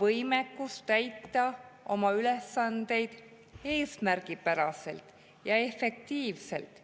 võimekust täita oma ülesandeid eesmärgipäraselt ja efektiivselt,